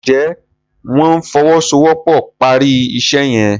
njé wón ìfowosowopo pá rí iṣé yen?